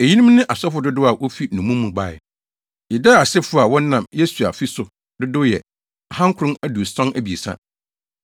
Eyinom ne asɔfo dodow a wofi nnommum mu bae: 1 Yedaia asefo (a wɔnam Yesua fi so) dodow yɛ 2 973 1